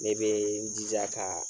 Ne bee n jija kaa